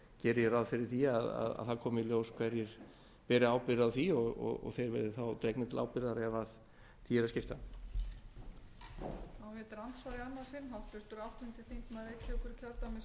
geri ég ráð fyrir að það komi í ljós hverjir beri ábyrgð á því og þeir verði þá dregnir til ábyrgðar ef því er að skipta